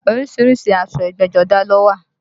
Orísìírísìí aṣọ ẹgbẹ́jọdá ló wà